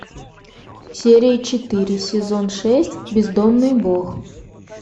серия четыре сезон шесть бездомный бог